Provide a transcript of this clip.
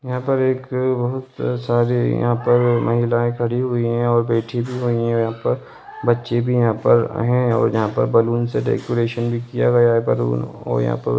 यहाँ पर एक बहुत सारी यहाँ पर महिलायें खड़ी हुई हैं और बैठी भी हुई है यहाँ पर | बच्चे भी हैं यहाँ पर और यहाँ पर बैलून से डेकोरेशन भी किया गया है। बैलून और यहाँ पर --